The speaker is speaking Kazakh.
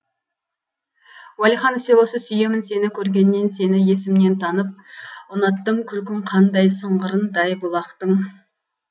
уәлиханов селосы сүйемін сені көргеннен сені есімнен танып ұнаттым күлкің қандай сыңғырындай бұлақтың